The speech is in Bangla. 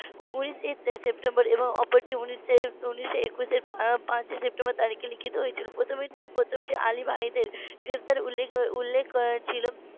উনিশে সেপ্টেম্বর এবং অপরটি উনিশশো একুশের পাঁচই সেপ্টেম্বর তারিখে লিখিত হয়েছিল প্রথমে প্রথমটি আলী ভাইদের গ্রেফতার এর উল্লেখ উল্লেখ ছিল